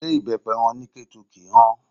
Ṣé ibepe wọn ní Ketu kì í hàn?